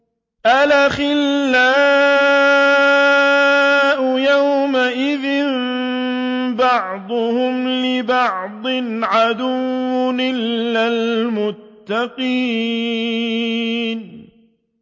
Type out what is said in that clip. الْأَخِلَّاءُ يَوْمَئِذٍ بَعْضُهُمْ لِبَعْضٍ عَدُوٌّ إِلَّا الْمُتَّقِينَ